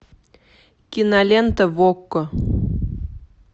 кинолента в окко